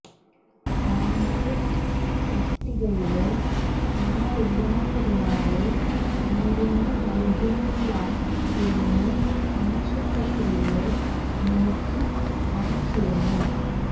pharmacist തസ്തികയില് ആളില്ലാത്തതിനാല് മരുന്ന് നല്കുന്നില്ല എന്ന് ആശുപത്രിയില് നോട്ടീസ് പതിച്ചിരുന്നു